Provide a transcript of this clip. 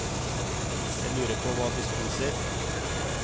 Jeg lurer på hva de spiser.